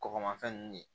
Kɔgɔmafɛn nunnu